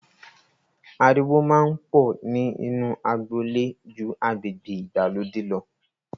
Ariwo máa ń pọ̀ ni inu agboolé ju agbègbè ìgbàlódé lọ.